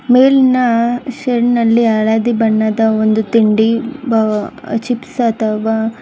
ಮೇಲಿನ ಸೆಲ್ ನಲ್ಲಿ ಹಳದಿ ಬಣ್ಣದ ಒಂದು ತಿಂಡಿ ಚಿಪ್ಸ್ ಅಥವಾ.